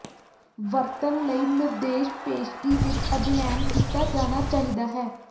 ਵਰਤਣ ਲਈ ਨਿਰਦੇਸ਼ ਪੇਸ਼ਗੀ ਵਿੱਚ ਅਧਿਐਨ ਕੀਤਾ ਜਾਣਾ ਚਾਹੀਦਾ ਹੈ